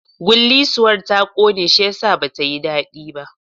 Gullisuwar ta ƙone shiyasa ba tayi daɗi ba